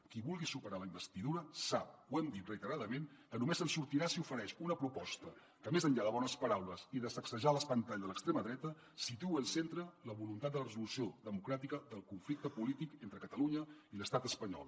qui vulgui superar la investidura sap ho hem dit reiteradament que només se’n sortirà si ofereix una proposta que més enllà de bones paraules i de sacsejar l’espantall de l’extrema dreta situï al centre la voluntat de la resolució democràtica del conflicte polític entre catalunya i l’estat espanyol